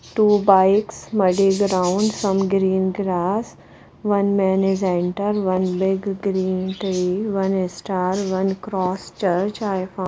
two bikes muddy ground some green grass one man is enter one big green tree one star one cross church i found --